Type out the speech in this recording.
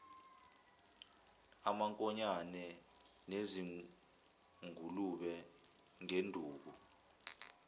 amankonyane nezingulube ngenduku